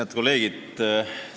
Head kolleegid!